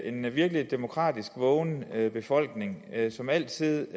en virkelig demokratisk vågen befolkning som altid